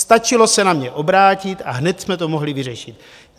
Stačilo se na mě obrátit a hned jsme to mohli vyřešit.